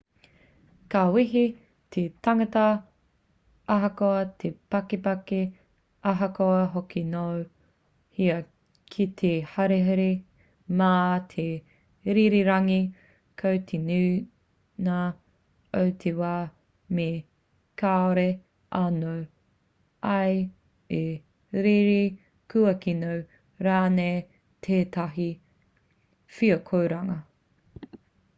ka wehi te tangata ahakoa te pakeke ahakoa hoki nō hea ki te haerere mā te rererangi ko te nuinga o te wā me kaore anō ia i rere kua kino rānei tētahi wheakoranga